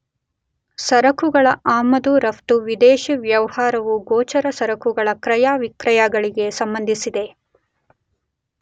ಸರಕುಗಳ ಆಮದು ರಫ್ತು, ವಿದೇಶಿ ವ್ಯವಹಾರವು ಗೋಚರ ಸರಕುಗಳ ಕ್ರಯ ವಿಕ್ರಯಗಳಿಗೆ ಸಂಬಂಧಿಸಿದೆ.